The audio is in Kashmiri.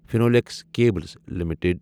Finolex cables limited